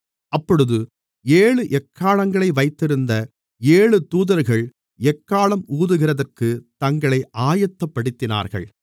அப்பொழுது ஏழு எக்காளங்களை வைத்திருந்த ஏழு தூதர்கள் எக்காளம் ஊதுகிறதற்குத் தங்களை ஆயத்தப்படுத்தினார்கள்